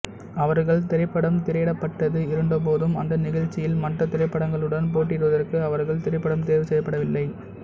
அவர்கள் திரைப்படம் திரையிடப்பட்டது இருந்தபோதும் அந்த நிகழ்ச்சியில் மற்ற திரைப்படங்களுடன் போட்டியிடுவதற்கு அவர்கள் திரைப்படம் தேர்வு செய்யப்படவில்லை